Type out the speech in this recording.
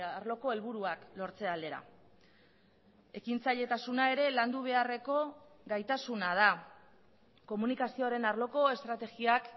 arloko helburuak lortze aldera ekintzailetasuna ere landu beharreko gaitasuna da komunikazioaren arloko estrategiak